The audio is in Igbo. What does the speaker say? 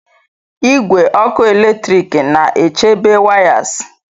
Igwe ọkụ eletrik na-echebe wires.